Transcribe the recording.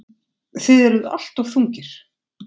Þið eruð alltof þungir.